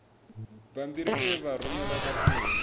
bammbiri e vha rumelwa khathihi